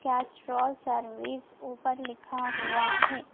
Castrol service ऊपर लिखा हुआ है।